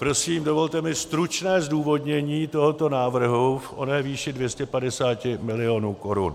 Prosím, dovolte mi stručné zdůvodnění tohoto návrhu v oné výši 250 milionů korun.